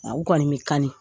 A u kɔni bɛ kani